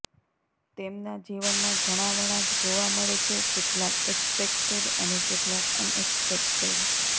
તેમના જીવનમાં ઘણા વળાંક જોવા મળે છે કેટલાક એક્સેપેક્ટેડ અને કેટલાક અનએક્સપેક્ટેડ